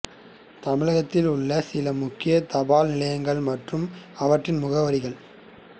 தமிழகத்தில் உள்ள சில முக்கிய தபால் நிலையங்கள் மற்றும் அவற்றின் முகவரிகள்